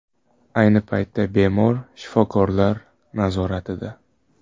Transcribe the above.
Ayni paytda bemor shifokorlar nazoratida.